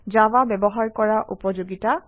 Java ব্যৱহাৰ কৰাৰ উপযোগিতা